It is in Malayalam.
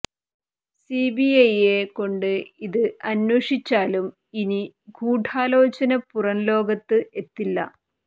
സിബിഐയെ കൊണ്ട് ഇത് അന്വേഷിച്ചാലും ഇനി ഗൂഢാലോചന പുറം ലോകത്ത് എത്തില്ല